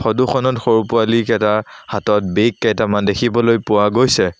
ফটোখনত সৰু পোৱালি কেইটাৰ হাতত বেগ কেইটামান দেখিবলৈ পোৱা গৈছে।